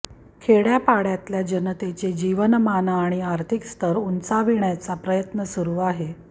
खेडय़ापाडय़ातल्या जनतेचे जीवनमान आणि आर्थिक स्तर उंचाविण्याचा प्रयत्न सुरु आहे